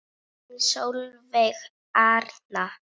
Þín Sólveig Arna.